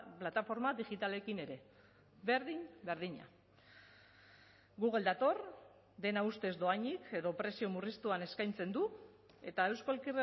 plataforma digitalekin ere berdin berdina google dator dena ustez dohainik edo prezio murriztuan eskaintzen du eta euskal